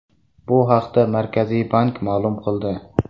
Bu haqda Markaziy bank ma’lum qildi .